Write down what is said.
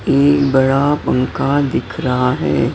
ई बड़ा पंखा दिख रहा है।